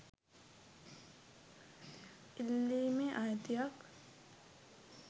ඉල්ලීමේ අයිතියක්